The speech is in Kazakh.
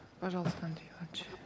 пожалуйста андрей иванович